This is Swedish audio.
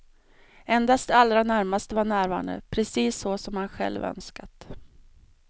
Endast de allra närmaste var närvarande, precis så som han själv önskat.